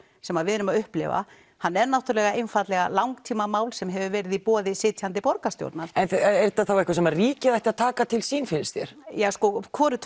sem við erum að upplifa hann er náttúrulega einfaldlega langtímamál sem hefur verið í boði sitjandi borgarstjórnar er þetta þá eitthvað sem ríkið ætti að taka til sín finnst þér já sko hvorugt